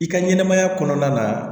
I ka ɲɛnɛmaya kɔnɔna na